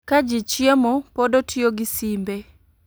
Ka ji chiemo pod otiyo gi simbe